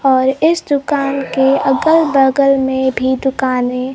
और इस दुकान के अगल बगल में भी दुकानें--